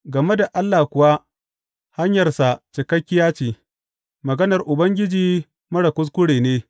Game da Allah kuwa, hanyarsa cikakkiya ce; maganar Ubangiji marar kuskure ne.